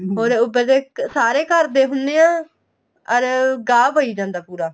ਹੋਰ ਪਤਾ ਸਾਰੇ ਘਰ ਦੇ ਹੁੰਨੇ ਆ or ਗਾਹ ਪਈ ਜਾਂਦਾ ਪੂਰਾ